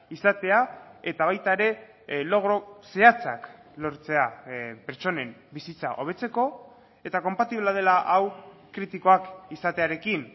izatea eta baita ere logro zehatzak lortzea pertsonen bizitza hobetzeko eta konpatiblea dela hau kritikoak izatearekin